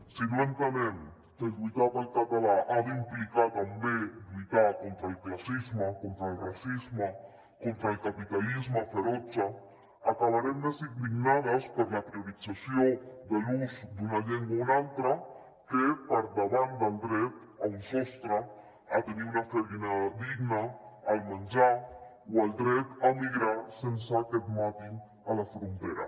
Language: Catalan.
si no entenem que lluitar pel català ha d’implicar també lluitar contra el classisme contra el racisme contra el capitalisme ferotge acabarem més indignades per la priorització de l’ús d’una llengua o una altra que per davant del dret a un sostre a tenir una feina digna al menjar o el dret a migrar sense que et matin a la frontera